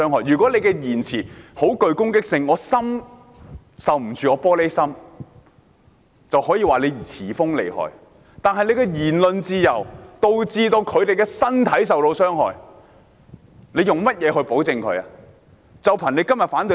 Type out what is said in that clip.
如果言語具攻擊性，我是"玻璃心"受不了，就可以說是詞鋒銳利厲害；但他們的言論自由導致別人身體受傷害，還憑甚麼要保障他們呢？